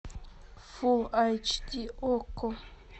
фул айч ди окко